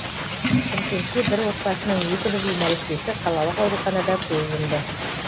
шымкентте бір отбасының екі бірдей нәрестесі қалалық ауруханада көз жұмды